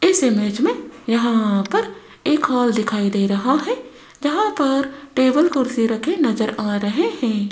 इस इमेज में यहां पर एक हॉल दिखाई दे रहा है जहां पर टेबल कुर्सी रखे नजर आ रहे है।